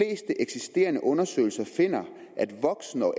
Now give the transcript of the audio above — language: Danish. eksisterende undersøgelser finder